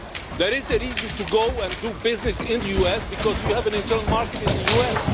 There is a reason to go and do business in the US because you have an internal market in the